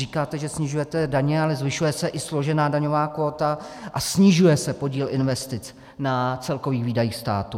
Říkáte, že snižujete daně, ale zvyšuje se i složená daňová kvóta a snižuje se podíl investic na celkových výdajích státu.